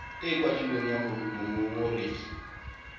e e kwadilweng ya mongongoregi